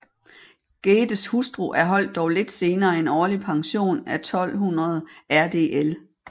Geddes hustru erholdt dog lidt senere en årlig pension af 1200 rdl